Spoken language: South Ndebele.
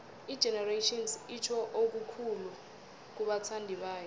igenerations itjho okukhulu kubathandibayo